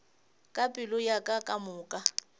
ka pelo ya ka kamoka